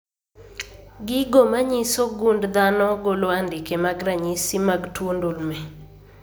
Gigo manyiso gund dhano golo andike mag ranyisi mag tuo ndulme